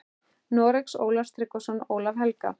Noregs, Ólaf Tryggvason og Ólaf helga.